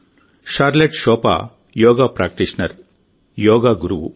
Charlotte షోపా yoga practitioner yoga గురువు